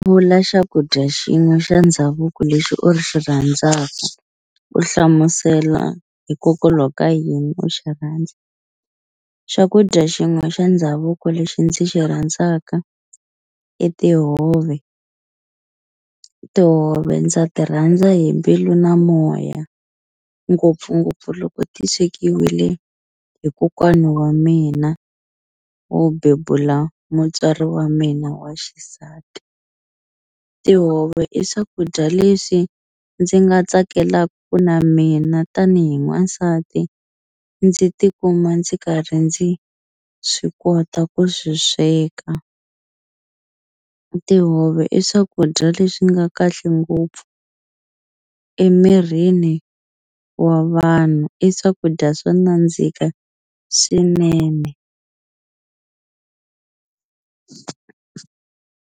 Vula xakudya xin'we xa ndhavuko lexi u xi rhandzaka u hlamusela hikokwalaho ka yini u xi rhandza. Xakudya xin'we xa ndhavuko lexi ndzi xi rhandzaka i tihove tihove ndza ti rhandza hi mbilu na moya ngopfungopfu loko ti swekiwile hi kokwani wa mina wo bebula mutswari wa mina wa xisati tihove i swakudya leswi ndzi nga tsakelaku ku na mina tanihi n'wansati ndzi tikuma ndzi karhi ndzi swi kota ku swi sweka tihove i swakudya leswi nga kahle ngopfu emirini wa vanhu i swakudya swo nandzika swinene.